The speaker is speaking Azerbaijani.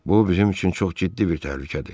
Bu bizim üçün çox ciddi bir təhlükədir.